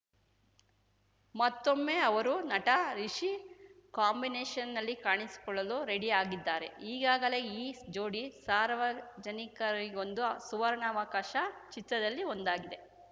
ಮತ್ತೊಮ್ಮೆ ಅವರು ನಟ ರಿಷಿ ಕಾಂಬಿನೇಷನ್‌ಲ್ಲಿ ಕಾಣಿಸಿಕೊಳ್ಳಲು ರೆಡಿ ಆಗಿದ್ದಾರೆ ಈಗಾಗಲೇ ಈ ಜೋಡಿ ಸಾರ್ವಜನಿಕರಿಗೊಂದು ಸುವರ್ಣಾವಕಾಶ ಚಿತ್ರದಲ್ಲಿ ಒಂದಾಗಿದೆ